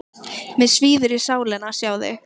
Mig svíður í sálina að sjá þig.